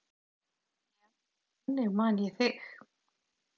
Já, þannig man ég þig.